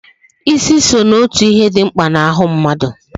Ịsị so n'otu ihe dị mkpa n'ahụ mmadụ